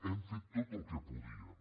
hem fet tot el que podíem